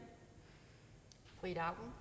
her